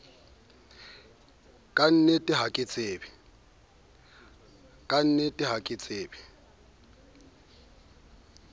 ka nnete ha ke tsebe